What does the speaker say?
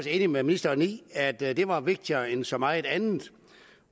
enige med ministeren i at det at det var vigtigere end så meget andet